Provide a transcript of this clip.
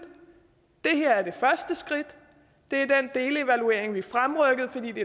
det her er det første skridt det er den delevaluering vi fremrykkede fordi det